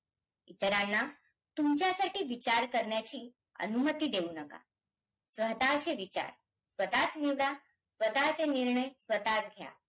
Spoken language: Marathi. इतरांना तुमच्यासाठी विचार करण्याची अनुमति देऊ नका. स्वतःचे विचार, स्वतःच निवडा, स्वतःच निर्णय, स्वतःच घ्या.